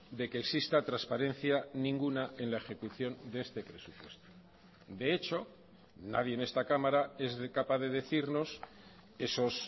de que exista transparencia ninguna en la ejecución de este presupuesto de hecho nadie en esta cámara es capaz de decirnos esos